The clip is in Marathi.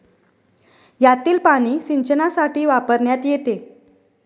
यातील पाणी सिंचनासाठी वापरण्यात येते